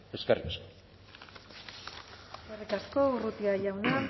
eskerrik asko eskerrik asko urrutia jauna